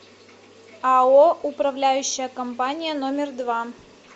ао управляющая компания номер два